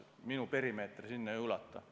Minu perimeeter sellesse valdkonda ei ulatu.